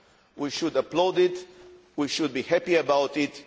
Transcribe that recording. We should applaud it. We should be happy about it.